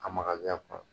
A makari a kɔnɔ